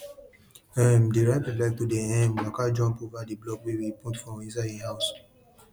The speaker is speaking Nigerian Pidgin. um di rabbit like to dey um waka jump over di blocks wey we put for inside hin house